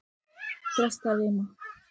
Þrastarima